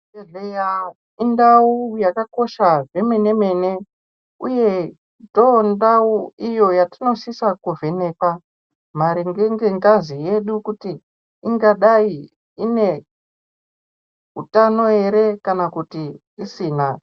Zvibhedhleya indau yakakosha zvemene mene, uye ndondau yatinosisa kuvheneka maringe ngengazi yedu kuti ingadayi ine utano ere kana kuti asina.